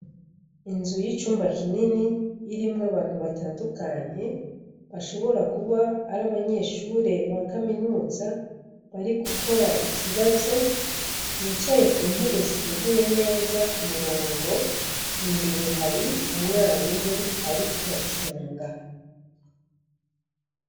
Inzu y'icumba kinini irimwo abantu batandukanye bashobora kuba ari abanyeshure ba kaminuza bari gukora ikibazo bicaye ku ntebe ziteguye neza ku murongo, imbere hari umwarimu ari kubacunga.